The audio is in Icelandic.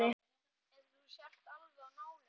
Eins og þú sért alveg á nálum.